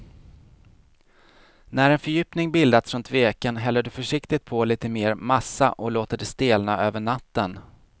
När en fördjupning bildats runt veken häller du försiktigt på lite mer massa och låter det stelna över natten.